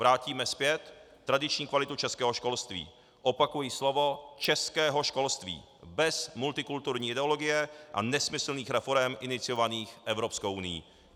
Vrátíme zpět tradiční kvalitu českého školství - opakuji slovo českého školství - bez multikulturní ideologie a nesmyslných reforem iniciovaných Evropskou unií.